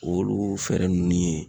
Olu fɛɛrɛ nunnu ye